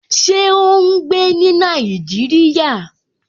Ṣé ó n gbé ní Nàìjíríyà?